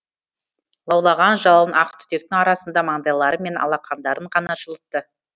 лаулаған жалын ақ түтектің арасында маңдайлары мен алақандарын ғана жылытты